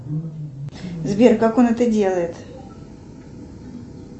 сбер как он это делает